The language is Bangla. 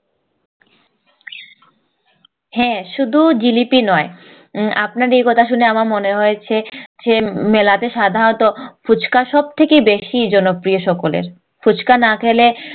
হ্যাঁ শুধু জিলিপি নয় আপনার এই কথা শুনে আমার মনে হয়েছে যে মেলাতে সাধারণত ফুচকা সব থেকে বেশি জন প্রিয় সকলের ফুচকা খেলে